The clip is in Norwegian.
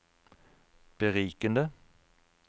berikende